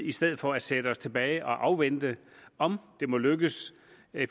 i stedet for at sætte os tilbage og afvente om det må lykkes